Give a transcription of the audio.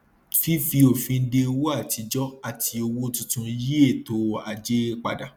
fífi òfin de owó àtijọ àti owó tuntun yí ètò ajé padà